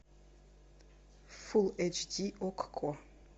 фулл эйч ди окко